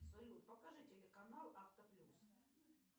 салют покажи телеканал авто плюс